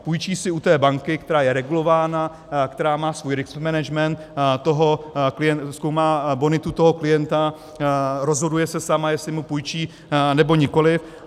Půjčí si u té banky, která je regulována, která má svůj risk management, zkoumá bonitu toho klienta, rozhoduje se sama, jestli mu půjčí, nebo nikoli.